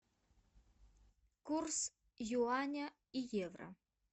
курс юаня и евро